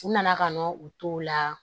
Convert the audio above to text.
U nana ka na u to la